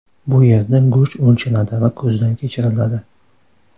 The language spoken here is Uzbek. Bu yerda go‘sht o‘lchanadi va ko‘zdan kechiriladi.